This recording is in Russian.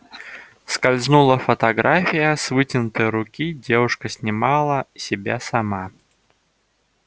скользнула фотография с вытянутой руки девушка снимала себя сама